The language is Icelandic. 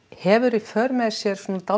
hefur í för með sér svona